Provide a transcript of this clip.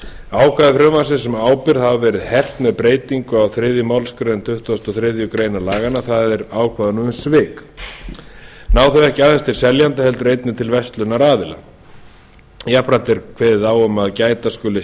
ákvæði frumvarpsins um ábyrgð hafa verið hert með breytingu á þriðju málsgrein tuttugustu og þriðju grein laganna það er ákvæðunum um svik ná þau ekki aðeins til seljenda heldur einnig til verslunaraðila jafnframt er kveðið á um að gæta skuli